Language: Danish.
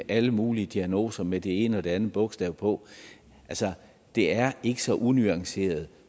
alle mulige diagnoser med det ene og det andet bogstav på altså det er ikke så unuanceret